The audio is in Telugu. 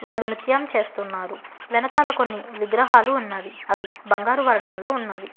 వాళ్లు నృత్యం చేస్తున్నారు వెనకాల కొన్ని విగ్రహాలు ఉన్నవి అవి బంగారు వర్ణంలో ఉన్నవి.